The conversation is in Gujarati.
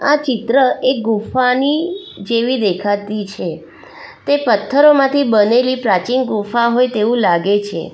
આ ચિત્ર એ ગુફાની જેવી દેખાતી છે તે પથ્થરોમાંથી બનેલી પ્રાચીન ગુફા હોય તેવું લાગે છે.